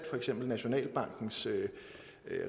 for eksempel nationalbankens